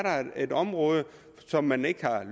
et område som man ikke har